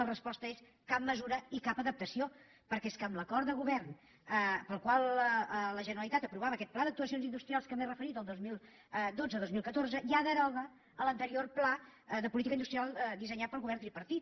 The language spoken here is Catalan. la resposta és cap mesura i cap adaptació perquè és que amb l’acord de govern pel qual la ge·neralitat aprovava aquest pla d’actuacions industrials a què m’he referit el dos mil dotze·dos mil catorze ja es deroga l’anterior pla de política industrial dissenyat pel govern tripar·tit